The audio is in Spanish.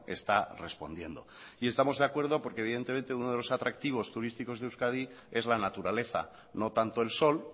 está respondiendo y estamos de acuerdo porque evidentemente uno de los atractivos turísticos de euskadi es la naturaleza no tanto el sol